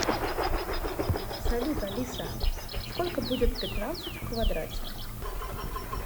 салют алиса сколько будет пятнадцать в квадрате